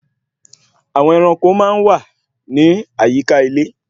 Àwọn ẹranko máa wà ní àyíká ilé